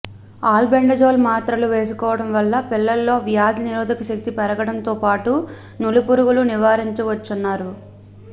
albendazole మాత్రలు వేసుకోవడం వల్ల పిల్లల్లో వ్యాధి నిరోదక శక్తి పెరగడంతో పాటు నులి పురుగులను నివారించవచ్చునన్నారు